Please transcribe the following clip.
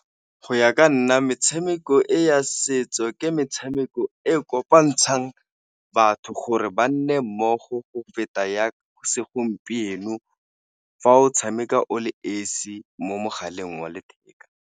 Go ya ka nna metshameko e ya setso ke metshameko e kopantshang batho gore ba nne mmogo, go feta ya segompieno fa o tshameka o le esi mo mogaleng wa letheka.